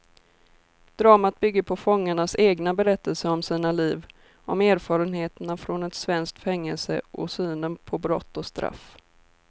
Dramat bygger på fångarnas egna berättelser om sina liv, om erfarenheterna från ett svenskt fängelse och synen på brott och straff.